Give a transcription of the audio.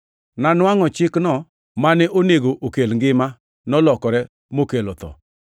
Nanwangʼo ni chikno, mane onego okel ngima, nolokore mokelo tho.